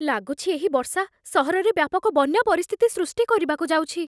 ଲାଗୁଛି, ଏହି ବର୍ଷା ସହରରେ ବ୍ୟାପକ ବନ୍ୟା ପରିସ୍ଥିତି ସୃଷ୍ଟି କରିବାକୁ ଯାଉଛି।